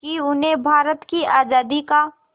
कि उन्हें भारत की आज़ादी का